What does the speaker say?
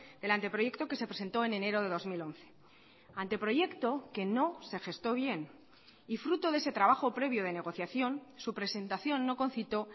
del anteproyecto que se presentó en enero de dos mil once anteproyecto que no se gestó bien y fruto de ese trabajo previo de negociación su presentación no concitó